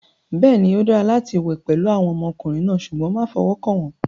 Bẹ́ẹ̀ni, ó dára láti wẹ̀ pẹ̀lú àwọn ọmọkùnrin náà, ṣùgbọ́n má fọwọ́ kàn wọ́n.